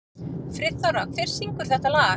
Friðþóra, hver syngur þetta lag?